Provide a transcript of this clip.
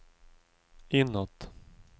inåt